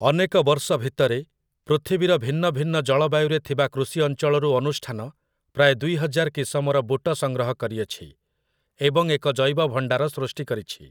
ଅନେକ ବର୍ଷ ଭିତରେ, ପୃଥିବୀର ଭିନ୍ନଭିନ୍ନ ଜଳବାୟୁରେ ଥିବା କୃଷି ଅଞ୍ଚଳରୁ ଅନୁଷ୍ଠାନ ପ୍ରାୟ ଦୁଇ ହଜାର କିସମର ବୁଟ ସଂଗ୍ରହ କରିଅଛି, ଏବଂ ଏକ ଜୈବଭଣ୍ଡାର ସୃଷ୍ଟି କରିଛି ।